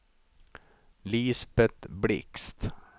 Lisbet Blixt